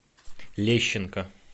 лещенко